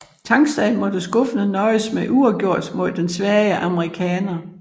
Tangstad måtte skuffende nøjes med uafgjort mod den svage amerikaner